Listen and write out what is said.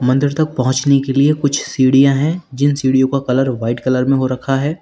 अंदर तक पहुंचने के लिए कुछ सीढ़ियां हैं जिन सीढ़ियों का कलर वाइट कलर में हो रखा है।